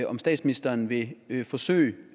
om statsministeren vil vil forsøge